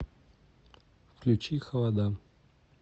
включи холода